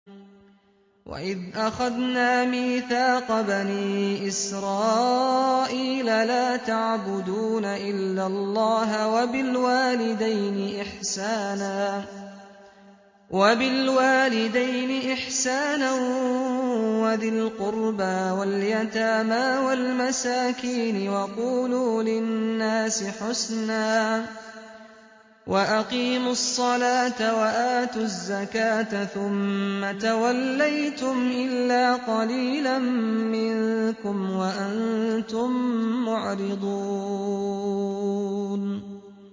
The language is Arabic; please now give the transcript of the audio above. وَإِذْ أَخَذْنَا مِيثَاقَ بَنِي إِسْرَائِيلَ لَا تَعْبُدُونَ إِلَّا اللَّهَ وَبِالْوَالِدَيْنِ إِحْسَانًا وَذِي الْقُرْبَىٰ وَالْيَتَامَىٰ وَالْمَسَاكِينِ وَقُولُوا لِلنَّاسِ حُسْنًا وَأَقِيمُوا الصَّلَاةَ وَآتُوا الزَّكَاةَ ثُمَّ تَوَلَّيْتُمْ إِلَّا قَلِيلًا مِّنكُمْ وَأَنتُم مُّعْرِضُونَ